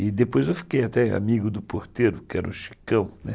E depois eu fiquei até amigo do porteiro, que era o Chicão, né?